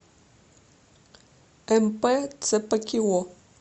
мп цпкио